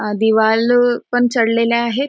आ दिवालो पण चढलेल्या आहेत.